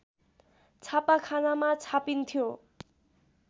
छापाखानामा छापिन्थ्यो